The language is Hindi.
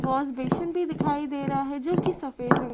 वॉशबेसिन भी दिखाई दे रहा है जो कि सफ़ेद रंग --